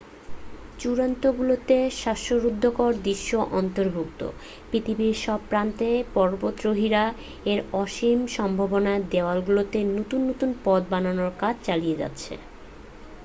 চূড়াগুলোতে শ্বাসরুদ্ধকর দৃশ্য অন্তর্ভুক্ত পৃথিবীর সব প্রান্তের পর্বতারোহীরা এর অসীম সম্ভাবনার দেয়ালগুলোতে নতুন নতুন পথ বানানোর কাজ চালিয়ে যাচ্ছে